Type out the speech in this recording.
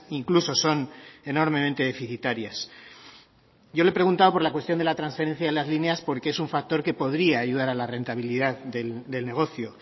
incluso son enormemente deficitarias yo le he preguntado por la cuestión de la transferencia de las líneas porque es un factor que podría ayudar a la rentabilidad del negocio